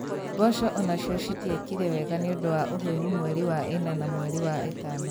Mboco onacio citiekire wega nĩũndũ wa ũhehu mweri wa ĩna na mweri wa ĩtano